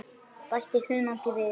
Bætið hunangi við.